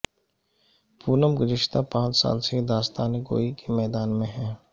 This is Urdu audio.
پونم گذشتہ پانچ سال سے داستان گوئی کے میدان میں ہیں